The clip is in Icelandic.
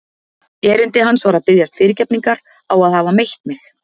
Erindi hans var að biðjast fyrirgefningar á að hafa meitt mig.